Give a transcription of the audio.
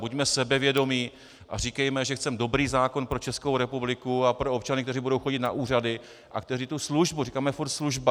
Buďme sebevědomí a říkejme, že chceme dobrý zákon pro Českou republiku a pro občany, kteří budou chodit na úřady a kteří tu službu - říkáme pořád služba.